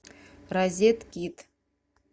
розеткид